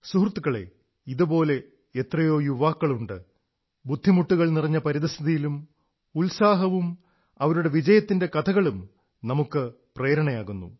സുഹൃത്തുക്കളേ ഇതുപോലെ എത്രയോ യുവ സുഹൃത്തുക്കളുണ്ട് ബുദ്ധിമുട്ടുകൾ നിറഞ്ഞ പരിതഃസ്ഥിതിയിലും ഉത്സാഹവും അവരുടെ വിജയത്തിന്റെ കഥകളും നമുക്ക് പ്രേരണയാകുന്നു